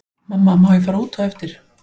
Mamma má ég fara út á eftir?